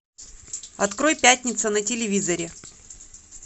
открой пятница на телевизоре